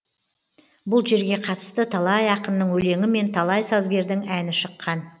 бұл жерге қатысты талай ақынның өлеңі мен талай сазгердің әні шыққан